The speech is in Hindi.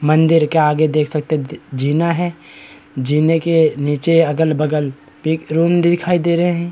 मंदिर के आगे देख सकते हैं दी जीना है जीने के नीचे अगल-बगल पे एक रूम दिखाई दे रहें हैं।